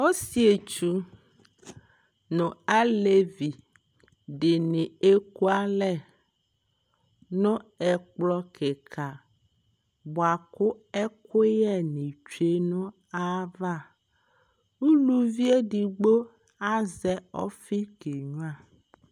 Ɔsietsu nʋ alevi dɩnɩ ekʋalɛ nʋ ɛkplɔ kɩka bʋa kʋ ɛkʋyɛ bi tsue nʋ ayava Uluvi edigbo azɛ ɔfɩ k'enyua